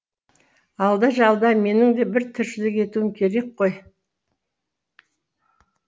алда жалда менің де бір тіршілік етуім керек қой